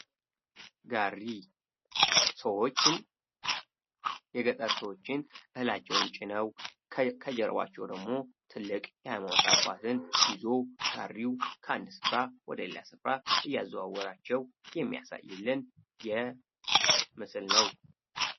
ጋሪ ሰዎችን የገጠር ሰዎችን እህላቸው ጭነው ከጀርባቸው ደግሞ ትልቅ ዕቃን ይዞ ጋሪው ከአንድ ስፍራ ወደ ሌላ ስፍራ እያዘዋወራቸው የሚያሳይልን ምስል ነው።